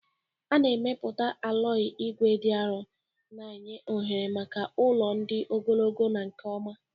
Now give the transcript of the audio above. A na-emepụta aloyi ígwè dị arọ na-enye ohere maka ụlọ dị ogologo na nke ọma